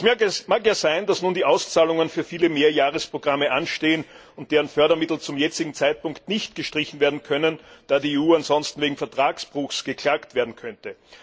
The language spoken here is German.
Es mag ja sein, dass nun die Auszahlungen für viele Mehrjahresprogramme anstehen und deren Fördermittel zum jetzigen Zeitpunkt nicht gestrichen werden können, da die EU ansonsten wegen Vertragsbruchs verklagt werden könnte.